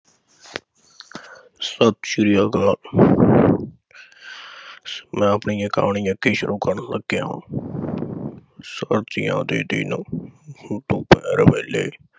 ਸਤਿ ਸ੍ਰੀ ਅਕਾਲ, ਮੈਂ ਆਪਣੀ ਇਹ ਕਹਾਣੀ ਇਥੇ ਸ਼ੁਰੂ ਕਰਨ ਲੱਗਿਆ ਹਾਂ। ਸਰਦੀਆਂ ਦੇ ਦਿਨ ਦੁਪਹਿਰ ਵੇਲੇ